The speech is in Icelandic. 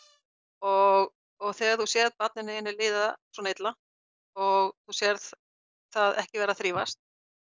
og og þegar þú sérð barninu þínu líða svona illa og sérð það ekki vera að þrífast